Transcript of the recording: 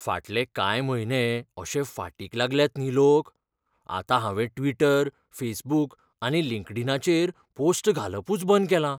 फाटले कांय म्हयने अशे फाटीक लागल्यात न्ही लोक, आतां हांवें ट्विटर, फेसबूक आनी लिंक्डइनाचेर पोस्ट घालपूच बंद केलां.